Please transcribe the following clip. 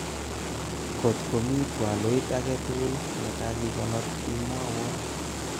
kot komi twaloit aketukul nekakikonor imwawo